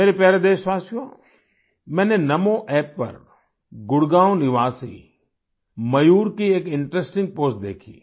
मेरे प्यारे देशवासियो मैंने NaMoApp पर गुड़गाँव निवासी मयूर की एक इंटरेस्टिंग पोस्ट देखी